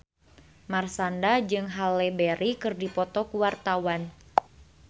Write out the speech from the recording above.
Marshanda jeung Halle Berry keur dipoto ku wartawan